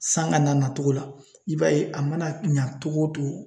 San ka na nacogo la i b'a ye a mana ɲɛ cogo o cogo